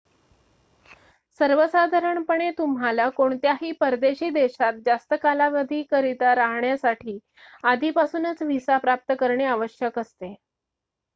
सर्वसाधारणपणे तुम्हाला कोणत्याही परदेशी देशात जास्त कालावधीकरिता राहण्यासाठी आधीपासूनच व्हिसा प्राप्त करणे आवश्यक असते